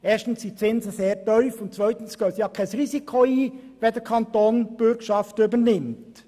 Erstens sind die Zinsen sehr tief, und zweitens gehen sie kein Risiko ein, wenn der Kanton die Bürgschaft übernimmt.